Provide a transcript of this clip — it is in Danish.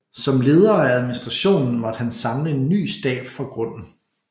Som leder af administrationen måtte han samle en ny stab fra grunden